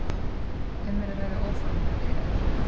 Um er að ræða óformlegar viðræður